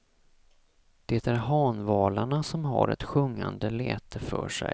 Det är hanvalarna som har ett sjungande läte för sig.